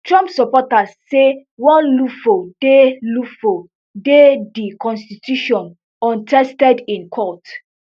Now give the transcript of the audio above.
trump supporters say one loophole dey loophole dey di constitution untested in court